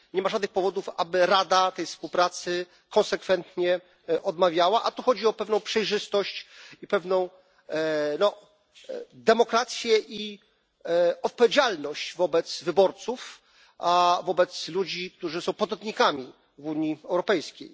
Nie ma żadnych powodów, aby Rada tej współpracy konsekwentnie odmawiała, a tu chodzi o pewną przejrzystość i pewną demokrację, i odpowiedzialność wobec wyborców, wobec ludzi, którzy są podatnikami w Unii Europejskiej.